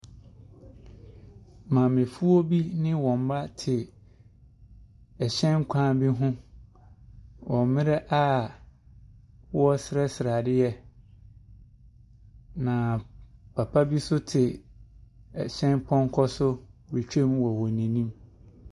Maamefoɔ bi ne wɔn mma te ɛhyɛn kwan bi ho, wɔ mmerɛ a wɔresrɛsrɛ adeɛ. Na papa bi nso te ɛhyɛn pɔnkɔ so retwa mu wɔ wɔn anim.